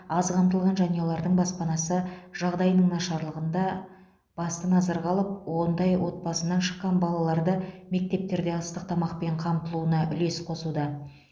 аз қамтылған жанұялардың баспанасы жағдайының нашарлығын да басты назарға алып ондай отбасыдан шыққан балаларды мектептерде ыстық тамақпен қамтылуына үлес қосуда